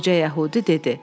Qoca yəhudi dedi: